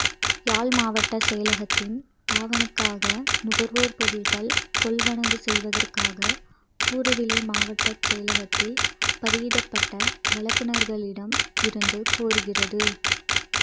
யாழ் மாவட்டச் செயலகத்தின் பாவனைக்காக நுகர்வுப் பொருட்கள் கொள்வனவு செய்வதற்காக கூறுவிலை மாவட்டச் செயலகத்தில் பதியப்பட்ட வழங்குனர்களிடம் இருந்து கோருகிறது